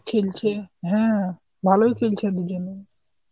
খেলছে, হ্যাঁ ভালোই খেলছে দুজনে.